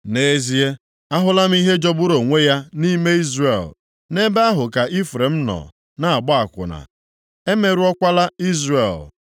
Nʼezie, ahụla m ihe jọgburu onwe ya nʼime Izrel. Nʼebe ahụ ka Ifrem nọ na-agba akwụna, emerụọkwala Izrel.